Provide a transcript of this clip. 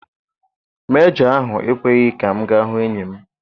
Mejọ ahụ ekweghị ka m gaa hụ enyi m.